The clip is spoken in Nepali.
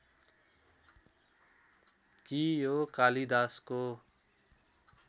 कि यो कालिदासको